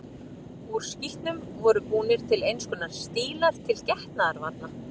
Úr skítnum voru búnir til eins konar stílar til getnaðarvarna.